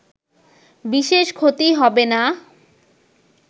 বিশেষ ক্ষতি হবে না